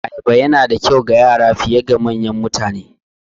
Ayaba Yana da kyau ga Yara fiye da manyan mutane